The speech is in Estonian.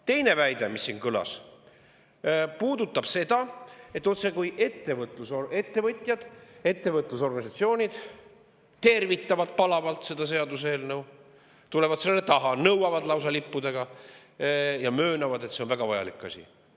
Teine väide, mis siin kõlas, puudutab seda, otsekui ettevõtjad ja ettevõtlusorganisatsioonid tervitaksid palavalt seaduseelnõu, tuleksid selle taha, nõuaksid selle lausa lippudega ja möönaksid, et see on väga vajalik asi.